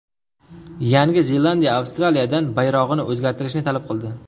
Yangi Zelandiya Avstraliyadan bayrog‘ini o‘zgartirishni talab qildi.